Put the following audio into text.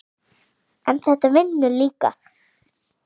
en þetta vinnur líka.